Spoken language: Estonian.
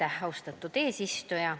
Aitäh, austatud eesistuja!